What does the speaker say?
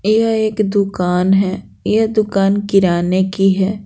यह एक दुकान है यह दुकान किराने की है।